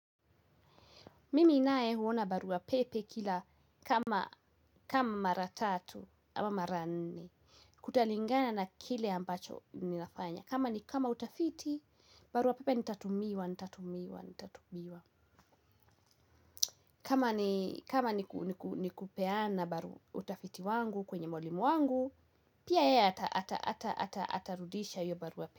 Mimi naye huona barua pepe kila kama mara tatu ama mara nne. Kutalingana na kile ambacho ninafanya. Kama ni kama utafiti, barua pepe nitatumiwa, nitatumiwa, nitatumiwa. Kama ni kupeana barua, utafiti wangu kwenye mwalimu wangu. Pia yeye atarudisha hio barua pepe.